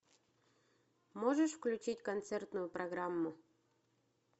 можешь включить концертную программу